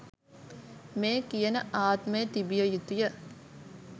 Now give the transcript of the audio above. මේ කියන ආත්මය තිබිය යුතුය.